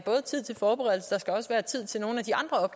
tid til forberedelse og tid til nogle af de andre